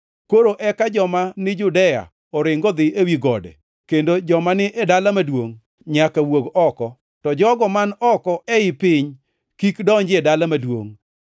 Koro eka joma ni Judea oring odhi ewi gode, kendo joma ni e dala maduongʼ nyaka wuog oko, to jogo man oko ei piny kik donjie dala maduongʼ.